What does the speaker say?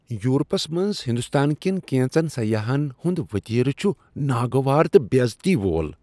Europe's منٛز ہندوستان کٮ۪ن کینٛژن سیاحن ہنٛد وتیرٕ چھ ناگوار تہٕ بیزتی وول ۔